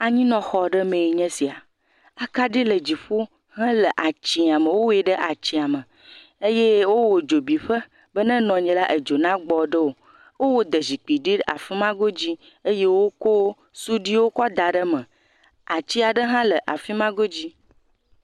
Anyinɔxɔme aɖee nye esia. Akaɖi le dziƒo hee le atsɛ̃a me. Wowɔe ɖe atsɛ̃a me eye wowɔ edzo bi ƒe be ne enɔ anyi la. Edzo na gbɔ nawo le afima godzi eye wokɔ siduiwo ke da ɖe eme. Ati hã le afima go dzi.